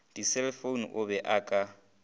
diselefoune o be a ka